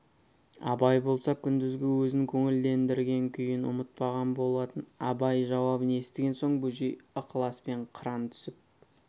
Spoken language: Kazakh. абай болса күндізгі өзін көңілдендірген күйін ұмытпаған болатын абай жауабын естіген соң бөжей ықыласпен қаран түсіп